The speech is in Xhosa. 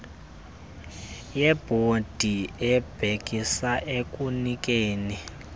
yebhodi ebhekisa ekunikeni